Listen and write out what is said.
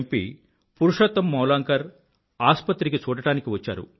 P Purushottam Mavalankar ఆసుపత్రిలో చూడడానికి వచ్చారు